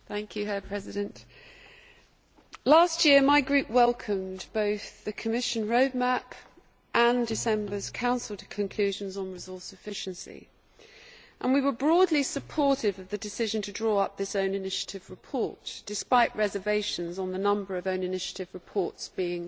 Mr President, last year my group welcomed both the Commission roadmap and December's Council conclusions on resource efficiency, and we were broadly supportive of the decision to draw up this own initiative report, despite reservations on the number of own initiative reports being